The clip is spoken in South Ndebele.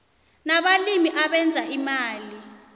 nabalimi abenza imali